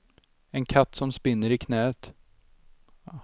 En katt som spinner i knäet.